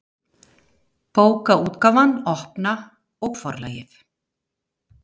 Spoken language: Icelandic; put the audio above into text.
Bókaútgáfan Opna og Forlagið.